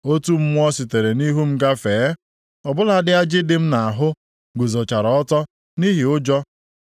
Otu mmụọ sitere nʼihu m gafee. Ọ bụladị ajị dị m nʼahụ guzochara ọtọ nʼihi ụjọ.